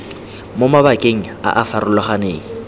mo mabakeng a a farologaneng